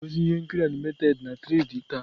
A ga-egosi ihe nkiri animated na 3d taa.